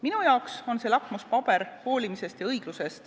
Minu arvates on see lakmuspaber hoolimise ja õigluse jaoks.